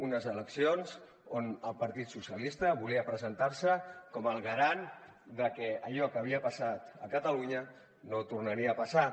unes eleccions on el partit socialista volia presentar se com el garant de que allò que havia passat a catalunya no tornaria a passar